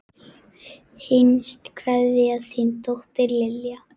Hinsta kveðja, þín dóttir, Lilja.